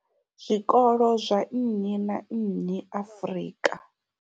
Zwikolo zwa nnyi na nnyi Afrika.